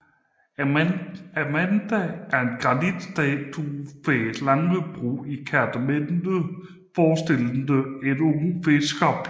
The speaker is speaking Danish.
Amanda er en granitstatue ved Langebro i Kerteminde forestillende en ung fiskerpige